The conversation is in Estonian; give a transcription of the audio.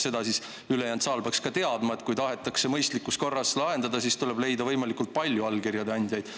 Seda peaks ülejäänud saal ka teadma, et kui tahetakse mõistlikus korras lahendada, siis tuleb leida võimalikult palju allkirjade andjaid.